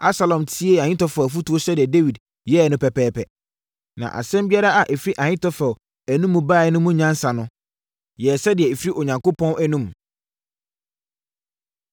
Absalom tiee Ahitofel afotuo sɛdeɛ Dawid yɛeɛ no pɛpɛɛpɛ. Na asɛm biara a ɛfiri Ahitofel anom baeɛ no mu nyansa no, yɛɛ sɛdeɛ ɛfiri Onyankopɔn anom.